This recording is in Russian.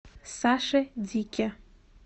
саше дике